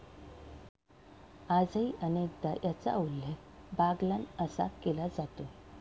आजही अनेकदा याचा उल्लेख बागलाण असा केला जातो.